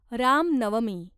Ram Navami